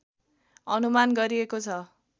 अनुमान गरिएको छ